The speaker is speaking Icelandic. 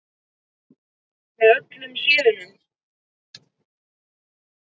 Með öllum síðunum?